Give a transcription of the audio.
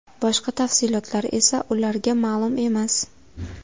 Boshqa tafsilotlar esa ularga ma’lum emas.